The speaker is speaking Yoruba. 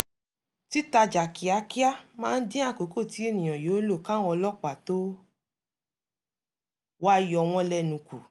títajà kíákíá máa ń dín àkókò tí ènìyàn yóò lò káwọn ọlọ́pàá tó wá yowọ́n lẹ́nu kù